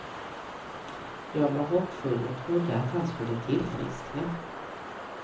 Jag var hoppfull och trodde att han skulle tillfriskna.